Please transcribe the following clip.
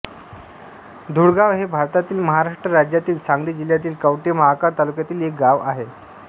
धुळगाव हे भारतातील महाराष्ट्र राज्यातील सांगली जिल्ह्यातील कवठे महांकाळ तालुक्यातील एक गाव आहे